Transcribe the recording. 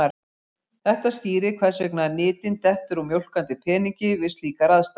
Þetta skýrir hvers vegna nytin dettur úr mjólkandi peningi við slíkar aðstæður.